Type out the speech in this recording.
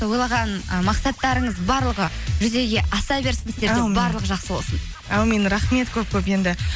ойлаған ы мақсаттарыңыз барлығы жүзеге аса берсін барлығы жақсы болсын әумин рахмет көп көп енді